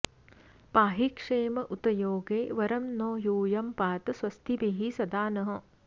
पाहि क्षेम उत योगे वरं नो यूयं पात स्वस्तिभिः सदा नः